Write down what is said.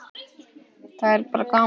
Það er bara gaman